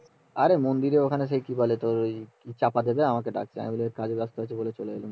আরে মন্দিরের ওখানে সে কি বলে তোর টাকা দেবে তাই আমাকে ডাকছিল আমি পরে যাচ্ছি বলে চলে গেলুম